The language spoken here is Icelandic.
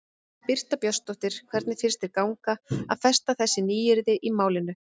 Birta Björnsdóttir: Hvernig finnst þér ganga að festa þessi nýyrði í málinu?